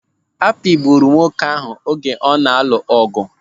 Apịgburu nwoke ahụ oge ana-alụ ọgụ?